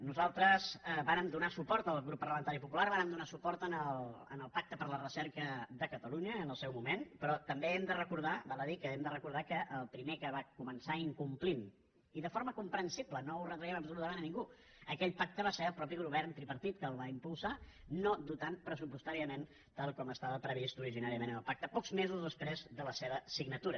nosaltres vàrem donar suport el grup parlamentari popular vàrem donar suport al pacte per la recerca de catalunya en el seu moment però també hem de recordar val a dir que hem de recordar que el primer que va començar incomplint i de forma comprensible no ho retraiem absolutament a ningú aquell pacte va ser el mateix govern tripartit que el va impulsar no dotant lo pressupostàriament tal com estava previst originàriament en el pacte pocs mesos després de la seva signatura